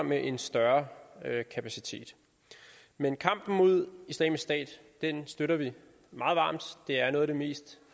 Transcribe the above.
med en større kapacitet men kampen mod islamisk stat støtter vi meget varmt det er en af de mest